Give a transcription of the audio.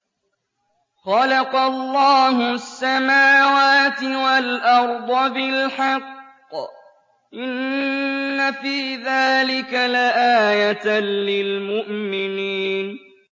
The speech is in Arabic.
خَلَقَ اللَّهُ السَّمَاوَاتِ وَالْأَرْضَ بِالْحَقِّ ۚ إِنَّ فِي ذَٰلِكَ لَآيَةً لِّلْمُؤْمِنِينَ